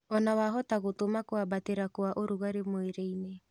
Ona wahota gũtũma kwambatĩra kwa ũrugarĩ mwĩrĩinĩ